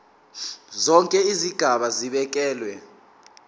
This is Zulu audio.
zonke izigaba zibekelwe